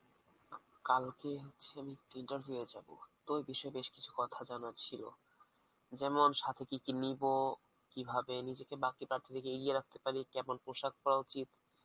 কালকে যে আমি interview এ যাবো, তো ওই বিষয়ে বেশ কিছু কথা জানার ছিলো যেমন সথে কিকি নিবো কিভাবে নিজেকে বাকি প্রার্থমিক এগিয়ে রাখতে পারি, কেমন পোশাক পরা উচিত